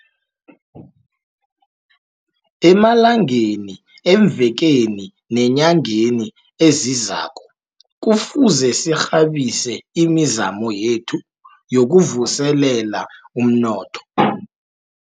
Emalangeni, eemvekeni neenyangeni ezizako, kufuze sirhabise imizamo yethu yokuvuselela umnnotho.